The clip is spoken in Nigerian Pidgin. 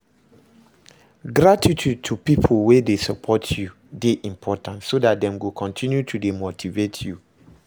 Gratitude to pipo wey de support you de important so that dem go continue to de motivate you